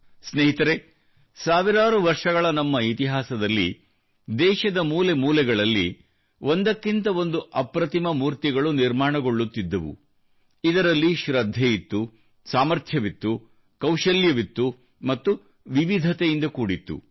ಸ್ನೇಹಿತರೆ ಸಾವಿರಾರು ವರ್ಷಗಳ ನಮ್ಮ ಇತಿಹಾಸದಲ್ಲಿ ದೇಶದ ಮೂಲೆ ಮೂಲೆಗಳಲ್ಲಿ ಒಂದಕ್ಕಿಂತ ಒಂದು ಅಪ್ರತಿಮ ಮೂರ್ತಿಗಳು ನಿರ್ಮಾಣಗೊಳ್ಳುತ್ತಿದ್ದವು ಇದರಲ್ಲಿ ಶೃದ್ಧೆಯಿತ್ತು ಸಾಮರ್ಥ್ಯವಿತ್ತು ಕೌಶಲ್ಯವಿತ್ತು ಮತ್ತು ವಿವಿಧತೆಯಿಂದ ಕೂಡಿತ್ತು